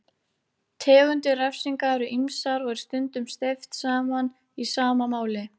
Tegundir refsinga eru ýmsar og er stundum steypt saman í sama máli.